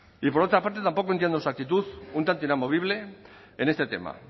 y por otra parte tampoco entiendo su actitud un tanto inamovible en este tema